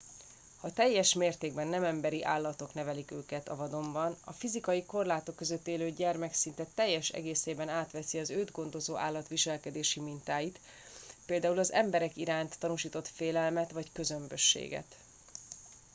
ha teljes mértékben nem emberi állatok nevelik őket a vadonban fizikai korlátok között élő gyermek szinte teljes egészében átveszi az őt gondozó állat viselkedési mintáit például az emberek iránt tanúsított félelmet vagy közömbösséget